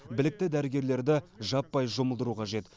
білікті дәрігерлерді жаппай жұмылдыру қажет